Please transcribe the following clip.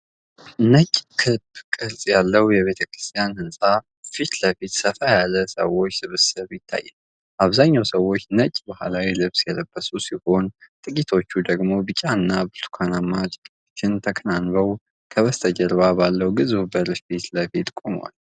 ትልቅ ክብ ቅርጽ ያለው የቤተክርስቲያን ሕንፃ ፊት ለፊት ሰፋ ያለ የሰዎች ስብስብ ይታያል። አብዛኞቹ ሰዎች ነጭ ባህላዊ ልብስ የለበሱ ሲሆን፤ ጥቂቶች ደግሞ ቢጫና ብርቱካንማ ጨርቆችን ተከናንበው ከበስተጀርባ ባለው ግዙፍ በር ፊት ለፊት ቆመዋል።